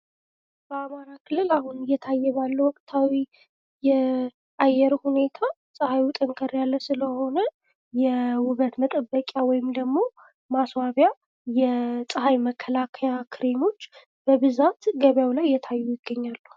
በአማራ ክልል አሁን እየታየ ባለው ወቅታዊ የአየር ሁኔታ ፤ ፀሐዩ ጠንከር ያለ ስለሆነ የውበት መጠበቂያ ወይም ደግሞ መስዋቢያ፥ የፀሐይ መከላከያ ክሬሞች በብዛት ገበያው ላይ እየታዩ ይገኛሉ።